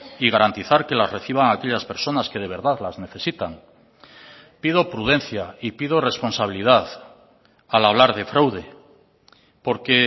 y garantizar que las reciban aquellas personas que de verdad las necesitan pido prudencia y pido responsabilidad al hablar de fraude porque